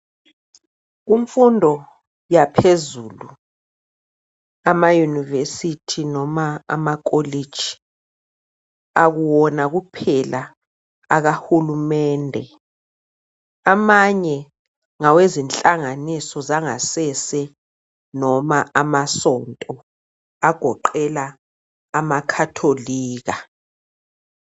Kumfundo yaphezulu emayunivesithi noma emakolitshi akuwona kuphela akahulumende amanye ngawenhlanganiso zangasese noma amasonto agoqela amakhatholika.